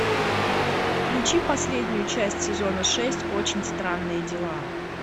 включи последнюю часть сезона шесть очень странные дела